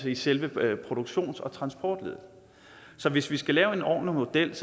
i selve produktions og transportleddet så hvis vi skal lave en ordentlig model